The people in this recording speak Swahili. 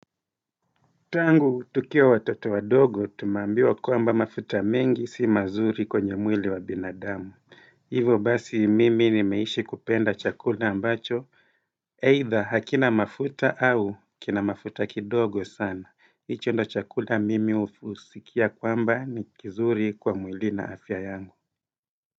Tangu tukiwa watoto wadogo tumeambiwa kwamba mafuta mengi si mazuri kwenye mwili wa binadamu Hivyo basi mimi nimeishi kupenda chakula ambacho, either hakina mafuta au kina mafuta kidogo sana. Icho ndio chakula mimi husikia kwamba ni kizuri kwa mwili na afya yangu.